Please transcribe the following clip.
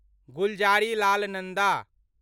Gulzarilal Nanda